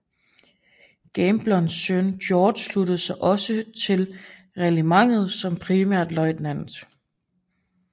Gambles søn George sluttede sig også til regimentet som premierløjtnant